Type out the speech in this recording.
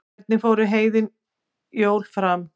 hvernig fóru heiðin jól fram